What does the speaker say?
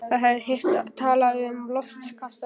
Það hafði heyrt talað um loftkastala.